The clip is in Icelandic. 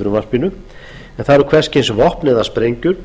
frumvarpinu en það eru hvers kyns vopn eða sprengjur